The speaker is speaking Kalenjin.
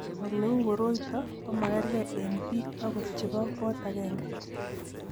Ole u koroito ko magerge eng' biko akot che bo kot agenge.